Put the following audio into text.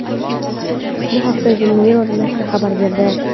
Bu haqda The Mirror nashri xabar berdi .